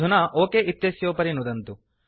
अधुना ओक इत्यस्योपरि नुदन्तु